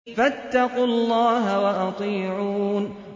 فَاتَّقُوا اللَّهَ وَأَطِيعُونِ